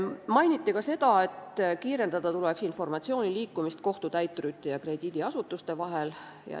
Mainiti ka seda, et kiirendada tuleks informatsiooni liikumist kohtutäiturite ja krediidiasutuste vahel.